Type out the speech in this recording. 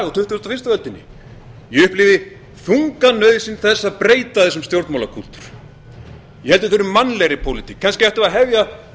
fyrstu öldinni ég upplifi þunga nauðsyn þess að breyta þessum stjórnmálapunkti ég held að við þurfum mannlegri pólitík kannski ættum við að hefja